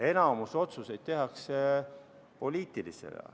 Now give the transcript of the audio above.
Enamik otsuseid tehakse poliitilisena.